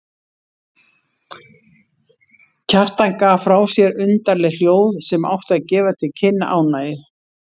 Kjartan gaf frá sér undarleg hljóð sem áttu að gefa til kynna ánægju.